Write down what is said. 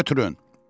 Götürün.